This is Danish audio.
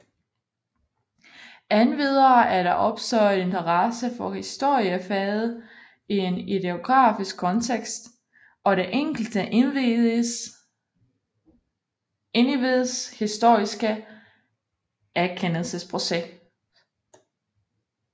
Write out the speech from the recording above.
Endvidere er der opstået interesse for historiefaget i en ideografisk kontekst og det enkelte individs historiske erkendelsesproces